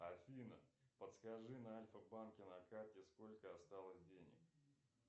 афина подскажи на альфа банке на карте сколько осталось денег